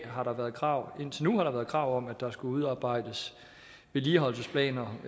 har der været krav krav om at der skulle udarbejdes vedligeholdelsesplaner